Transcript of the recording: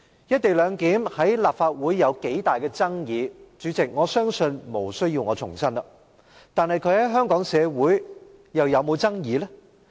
"一地兩檢"在立法會有多大爭議，主席，我相信無需我重申，但它在香港社會上又有否爭議？